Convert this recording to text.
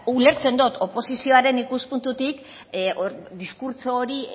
ulertzen dut oposizioaren ikuspuntutik diskurtso hori